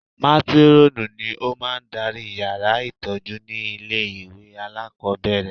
Mátírọ́ọ̀nù ni ó máa ń darí yàrá ìtọ́jú ní ilé ìwé alákọ̀ọ́bẹ̀rẹ̀